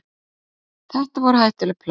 Þetta væru hættuleg plögg.